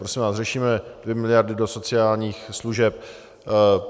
Prosím vás, řešíme dvě miliardy do sociálních služeb.